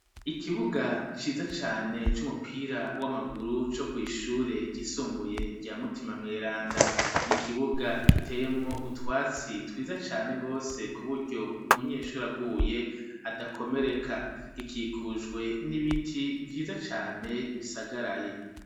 Ikibuga ciza cane c'umupira w'amaguru co kw'ishure ryisumbuye rya mutima mweranda, n'ikibuga giteyemwo utwatsi twiza cane rwose ku buryo umunyeshuri aguye adakomereka gikikujwe n'ibiti vyiza cane bisagaraye.